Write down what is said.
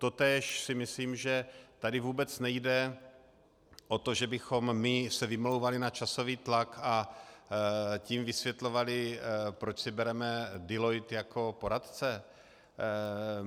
Totéž si myslím, že tady vůbec nejde o to, že bychom my se vymlouvali na časový tlak, a tím vysvětlovali, proč si bereme Deloitte jako poradce.